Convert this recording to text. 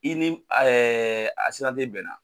I ni bɛnna,